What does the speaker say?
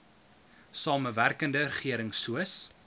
samewerkende regering soos